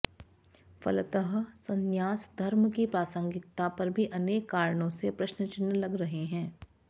फलतः संन्यास धर्म की प्रासंगिकता पर भी अनेक कारणों से प्रश्नचिन्ह लग रहे हैं